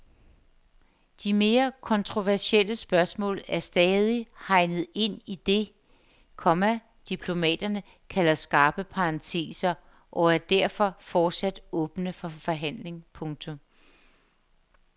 De mere kontroversielle spørgsmål er stadig hegnet ind i det, komma diplomaterne kalder skarpe parenteser og er derfor fortsat åbne for forhandling. punktum